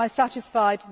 Am I satisfied?